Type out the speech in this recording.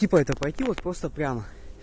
типа это пойти вот просто прямо